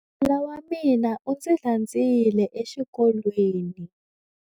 Nala wa mina u ndzi landzile exikolweni.